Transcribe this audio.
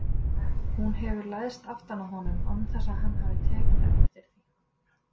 Hún hefur læðst aftan að honum án þess að hann hafi tekið eftir því.